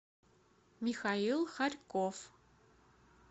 михаил хорьков